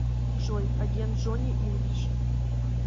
джой агент джонни инглиш